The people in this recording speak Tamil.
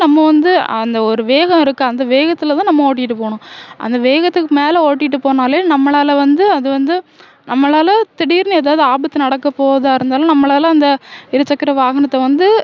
நம்ம வந்து அந்த ஒரு வேகம் இருக்கு அந்த வேகத்திலேதான் நம்ம ஓட்டிட்டுப் போகணும் அந்த வேகத்துக்கு மேலே ஓட்டிட்டுப் போனாலே நம்மளால வந்து அது வந்து நம்மளால திடீர்னு ஏதாவது ஆபத்து நடக்கப் போவதா இருந்தாலும் நம்மளால அந்த இருசக்கர வாகனத்தை வந்து